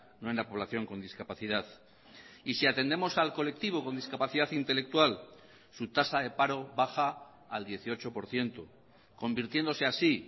no en la población con discapacidad y si atendemos al colectivo con discapacidad intelectual su tasa de paro baja al dieciocho por ciento convirtiéndose así